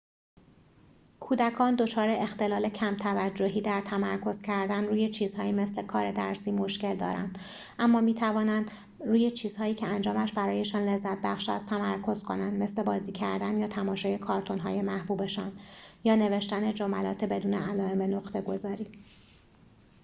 کودکان دچار اختلال کم‌توجهی در تمرکز کردن روی چیزهایی مثل کار درسی مشکل دارند اما می‌توانند روی چیزهایی که انجامش برایشان لذت‌بخش است تمرکز کنند مثل بازی کردن یا تماشای کارتون‌های محبوبشان یا نوشتن جملات بدون علائم نقطه‌گذاری